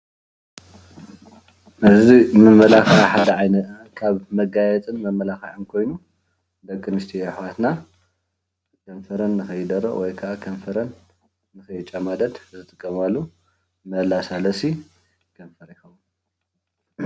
እዚ ካብ መጋየፅን መማላክዒ ሓደ ኮይኑ ዲቂ ኣንስትዮ ኣሕዋትና ከንፈረን ንከይደርቅ ወይ ከዓ ከይጨማደድ ዝጥቀማሉ መለሳለሲ ከንፈር ይከውን።